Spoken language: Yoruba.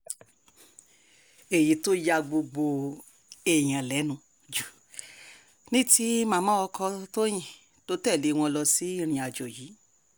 èyí tó ya gbogbo èèyàn lẹ́nu jù ni ti màmá ọkọ tọ́yìn tó tẹ̀lé wọn lọ sí ìrìnàjò yìí